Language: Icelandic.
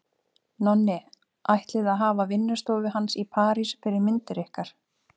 Nonni ætlið að hafa vinnustofu hans í París fyrir myndir ykkar.